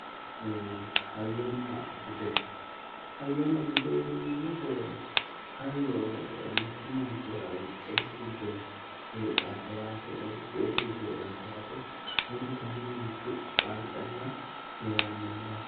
Hayyonna bude hayyonna bude yineemmo wote hayyo mittu manchira buqqeesi giddo heedhaate yaate budu kaayiinni mittu qarqarira heerannoho yaate.